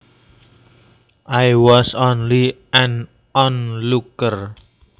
I was only an onlooker